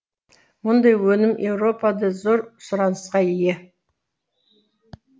мұндай өнім еуропада зор сұранысқа ие